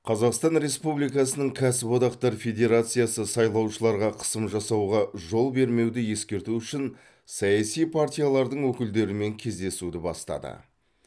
қазақстан республикасының кәсіподақтар федерациясы сайлаушыларға қысым жасауға жол бермеуді ескерту үшін саяси партиялардың өкілдерімен кездесуді бастады